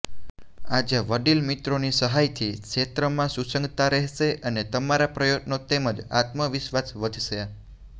આજે વડીલ મિત્રોની સહાયથી ક્ષેત્રમાં સુસંગતતા રહેશે અને તમારા પ્રયત્નો તેમજ આત્મવિશ્વાસ વધશે